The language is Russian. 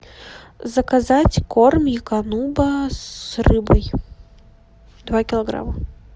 заказать корм эукануба с рыбой два килограмма